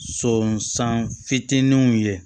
Sɔnsan fitininw ye